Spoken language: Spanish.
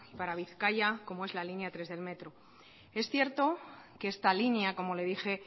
para bizkaia como es la línea tres del metro es cierto que esta línea como le dije